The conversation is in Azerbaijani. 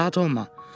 Narahat olma.